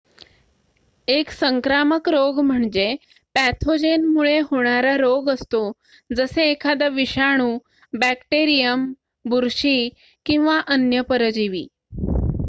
1 संक्रामक रोग म्हणजे पॅथोजेनमुळे होणारा रोग असतो जसे एखादा विषाणू बॅक्टेरियम बुरशी किंवा अन्य परजीवी